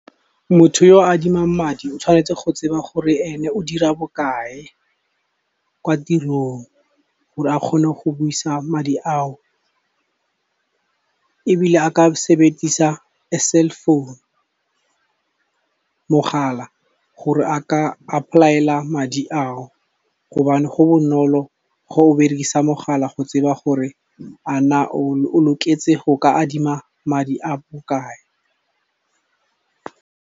Motho yo o adimang madi o tshwanetse go tseba gore ene o dira bokae kwa tirong, gore a kgone go busa madi ao. Ebile a ka sebedisa, a cell phone, mogala gore a ka apply-ela madi a o, gobane go bonolo ga o berekisa mogala go tseba gore a na o loketse go ka adima madi a bokae.